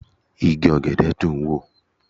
Igi ọ̀gẹ̀dẹ̀ dùn ń wò